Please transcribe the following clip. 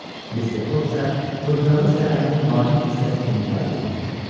Mister Foq isə fırtınanı səyahətin vacib hissəsi kimi qəbul eləyirdi.